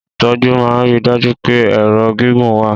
Ìtọ́jú máa ń rí i dájú pé ẹ̀rọ gígùn wà.